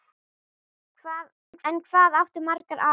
En hvað áttu marga afa?